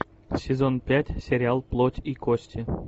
сезон пять сериал плоть и кости